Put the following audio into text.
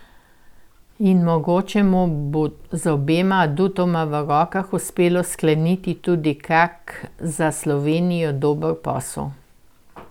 In mogoče mu bo z obema adutoma v rokah uspelo skleniti tudi kak za Slovenijo dober posel.